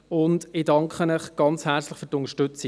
Ich danke Ihnen herzlich für die Unterstützung.